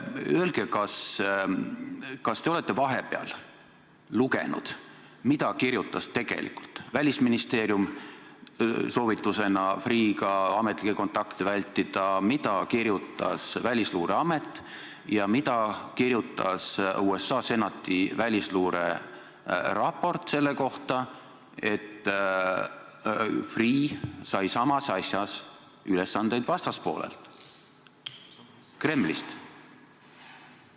Öelge, kas te olete vahepeal lugenud, mida kirjutas tegelikult Välisministeerium, kui soovitas Freeh'ga ametlikke kontakte vältida, mida kirjutas Välisluureamet ja mis oli kirjas USA Senati välisluureraportis selle kohta, et Freeh sai samas asjas ülesandeid vastaspoolelt, Kremlist?